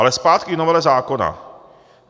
Ale zpátky k novele zákona.